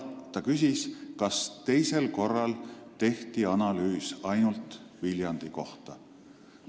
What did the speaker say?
Ta küsis, kas teisel korral tehti analüüs ainult Viljandi kohta.